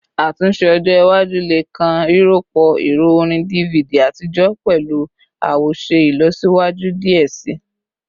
Atunse ojo iwaju le kan rirọpo ẹrọ orin DVD atijọ pẹlu awoṣe ilọsiwaju diẹ sii